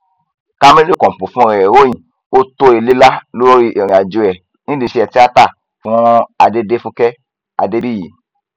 kamilu kọpọ fúnra ẹ ròyìn ó tó ilé lá lórí ìrìnàjò ẹ nídìí iṣẹ tíáta fún adedéfúkè adébíyì